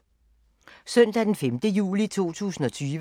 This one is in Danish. Søndag d. 5. juli 2020